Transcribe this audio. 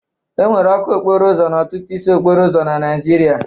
Enwere ọkụ okporo ụzọ n'ọtụtụ isi okporo ụzọ na Naijiria.